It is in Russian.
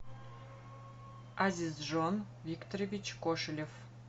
азизжон викторович кошелев